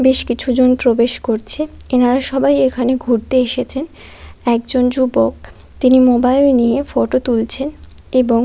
বেশ কিছু জন প্রবেশ করছে। এনারা সবাই এখানে ঘুরতে এসেছেন। একজন যুবক তিনি মোবাইল দিয়ে ফটো তুলছেন এবং--